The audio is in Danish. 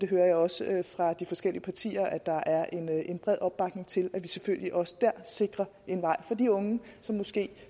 hører også fra de forskellige partier at der er en bred opbakning til at vi selvfølgelig også der sikrer en vej for de unge som måske